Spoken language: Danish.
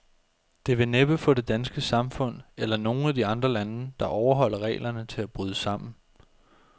Det vil næppe få det danske samfund, eller nogen af de andre lande, der overholder reglerne, til at bryde sammen.